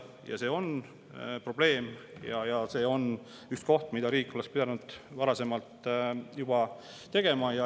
Nendega on probleem ja see on üks, mida riik oleks pidanud varasemalt juba tegema.